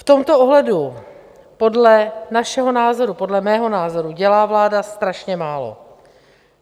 V tomto ohledu podle našeho názoru, podle mého názoru, dělá vláda strašně málo.